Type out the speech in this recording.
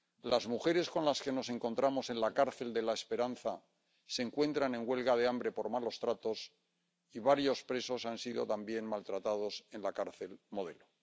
Las mujeres con las que nos encontramos en la cárcel de La Esperanza se encuentran en huelga de hambre por malos tratos y varios presos han sido también maltratados en la cárcel Modelo.